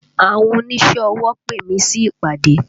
Àwọn oníṣẹ́ ọwọ pè mí sí ìpàdé